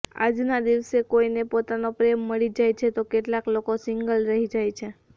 આજના દિવસે કોઇને પોતાનો પ્રેમ મળી જાય છે તો કેટલાક લોકો સિંગલ રહી જાય છે